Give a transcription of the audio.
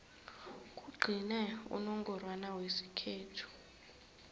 kugcine unongorwana wesikhethu